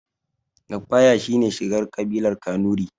Lafaya shine shigar ƙabilar kanurai